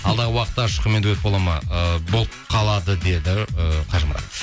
алдағы уақытта ұшқынмен дуэт болады ма ыыы болып қалады деді ы қажымұрат